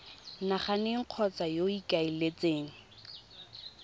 nageng kgotsa yo o ikaeletseng